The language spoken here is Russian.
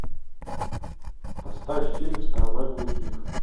поставь фильм страна глухих